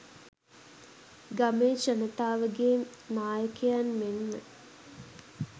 ගමේ ජනතාවගේ නායකයන් මෙන්ම